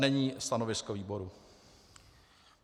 Není stanovisko výboru.